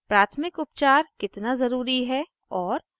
* प्राथमिक उपचार कितना ज़रूरी है और